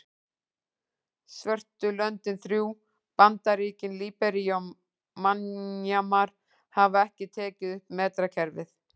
Svörtu löndin þrjú, Bandaríkin, Líbería og Mjanmar hafa ekki tekið upp metrakerfið.